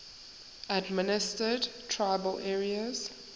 administered tribal areas